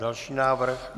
Další návrh.